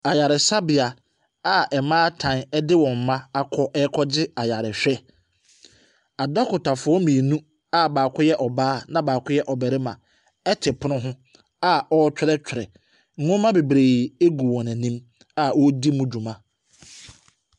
Ayaresabea a mmaatan de wɔn mma akɔ rekɔgye ayarehwɛ. Adɔkotafoɔ mmienu a baako yɛ ɔbaa na baako yɛ ɔbarima te pono ho a wɔretwerɛtwerɛ. Nwoma bebree gu wɔn ani a wɔredi mu dwuma.